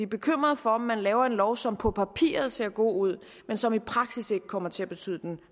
bekymrede for om man laver en lov som på papiret ser god ud men som i praksis ikke kommer til at betyde den